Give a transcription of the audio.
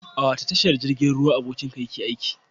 A wace tashar jirgin ruwa abokinka yake aiki?